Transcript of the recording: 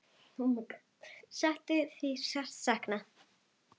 Settu verður sárt saknað.